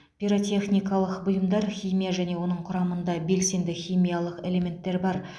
пирротехникалық бұйымдар химия және оның құрамында белсенді химиялық элементтер бар